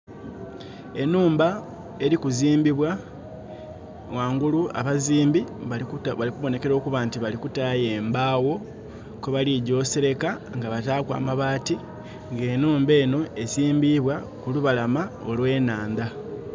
Enhumba eli kuzimbibwa, ghangulu abazimbi bali kubonekela okuba nti bali kutaayo embaagho kwe baligya oseleka nga bataaku amabaati. Nga enhumba enho ezimbibwa ku lubalama olw'enhandha.